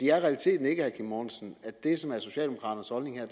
er realiteten ikke at det som er socialdemokraternes holdning